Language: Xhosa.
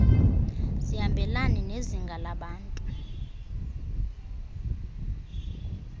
zihambelane nezinga labantu